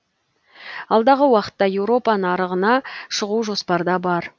алдағы уақытта еуропа нарығына шығу жоспарда бар